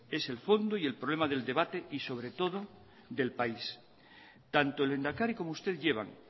es el fondo y el problema del debate y sobre todo del país tanto el lehendakari como usted llevan